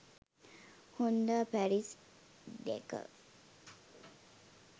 honda paris dakar